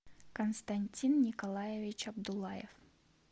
константин николаевич абдулаев